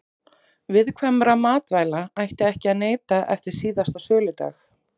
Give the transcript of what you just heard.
Viðkvæmra matvæla ætti ekki að neyta eftir síðasta söludag.